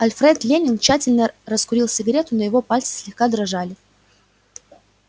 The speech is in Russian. алфред лэннинг тщательно раскурил сигарету но его пальцы слегка дрожали